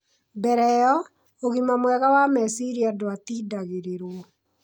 Mbere ĩyo, ũgima mwega wa meciria ndwatindagĩrĩrwo.